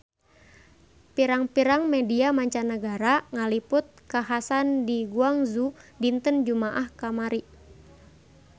Pirang-pirang media mancanagara ngaliput kakhasan di Guangzhou dinten Jumaah kamari